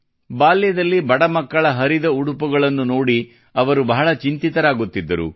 ಬಾಲ್ಯದಲ್ಲಿ ಬಡ ಮಕ್ಕಳ ಹರಿದ ಉಡುಪುಗಳನ್ನು ನೋಡಿ ಅವರು ಬಹಳ ಚಿಂತಿತರಾಗುತ್ತಿದ್ದರು